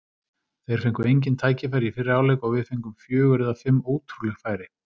Þeir fengu engin tækifæri í fyrri hálfleik og við fengum fjögur eða fimm ótrúleg færi.